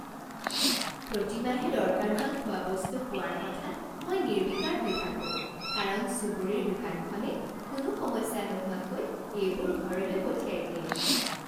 প্ৰতিমাহে দৰকাৰ হোৱা খোৱা বস্তু পোৱাৰ কথাত মই নিৰ্বিকাৰ হৈ থাকোঁ কাৰণ চুবুৰীৰ দোকানখনে কোনো সমস্যা নোহোৱাকৈ এইবোৰ ঘৰলৈ পঠিয়াই দিয়ে।